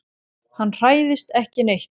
Hann hræðist ekki neitt.